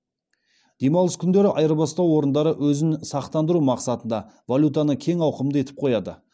демалыс күндері айырбастау орындары өзін сақтандыру мақсатында валютаны кең ауқымды етіп қояды